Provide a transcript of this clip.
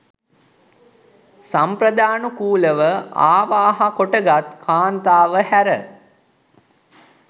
සම්ප්‍රාදානුකූලව අවාහ කොටගත් කාන්තාව හැර